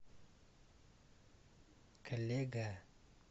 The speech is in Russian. коллега